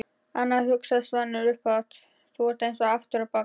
Anna, hugsaði Svanur upphátt, þú ert eins aftur á bak.